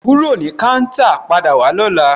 Kúrò ní káńtà, padà wá lóla!